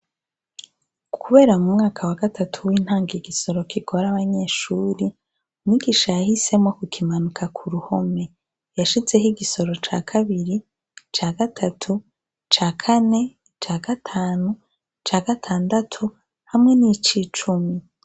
Ku, kubera mu mwaka wa gatatu w'intanga igisoro kiroara abanyeshuri umwigisha yahisemo ku kimanuka ku ruhome yashizeho igisoro ca kabiri ca gatatu ca kane ca gatanu ca gatandatu hamwe n'ico icumi.